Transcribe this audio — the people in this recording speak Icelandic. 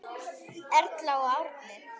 Erla og Árni.